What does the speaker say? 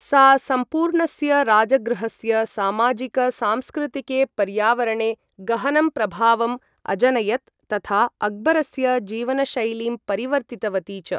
सा सम्पूर्णस्य राजगृहस्य सामाजिक सांस्कृतिके पर्यावरणे गहनं प्रभावम् अजनयत् तथा अक्बरस्य जीवनशैलीं परिवर्तितवती च।